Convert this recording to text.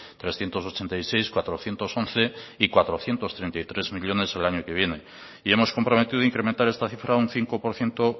trescientos ochenta y seis cuatrocientos once y cuatrocientos treinta y tres millónes el año que viene y hemos comprometido incrementar esta cifra a un cinco por ciento